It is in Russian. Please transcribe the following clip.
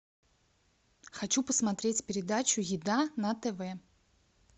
хочу посмотреть передачу еда на тв